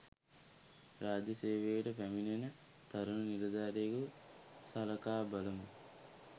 රාජ්‍ය සේවයට පැමිණෙන තරුණ නිලධාරියෙකු සලකා බලමු